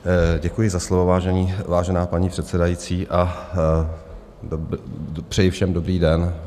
Děkuji za slovo, vážená paní předsedající, a přeji všem dobrý den.